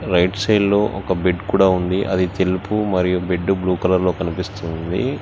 Right side లో ఒక bed కూడా ఉంది అది తెలుపు మరియు బెడ్ బ్లూ కలర్ లో కనిపిస్తుంది.